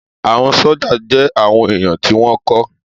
Àwọn sójà jẹ́ àwọn èèyàn tí wọ́n kọ́